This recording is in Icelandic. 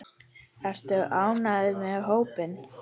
Ertu ánægður með hópinn?